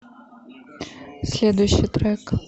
следующий трек